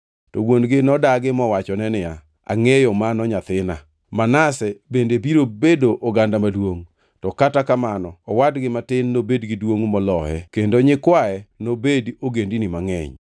To wuon-gi nodagi mowachone niya, “Angʼeyo mano nyathina. Manase bende biro bedo oganda maduongʼ. To kata kamano owadgi matin nobed giduongʼ moloye kendo nyikwaye nobed ogendini mangʼeny.”